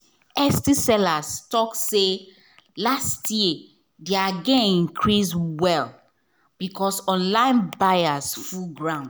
etsy sellers talk say last year their gain increase well because online buyers full ground.